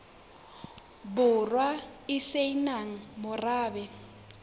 borwa e se nang morabe